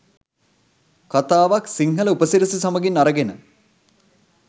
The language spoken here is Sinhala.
කතාවක් සිංහල උපසිරැසි සමගින් අරගෙන